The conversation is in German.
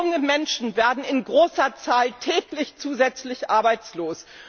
Junge Menschen werden in großer Zahl täglich zusätzlich arbeitslos.